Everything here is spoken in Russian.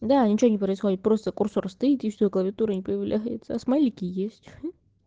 да ничего не происходит просто курсор стоит и всё клавиатура не появляться смайлики есть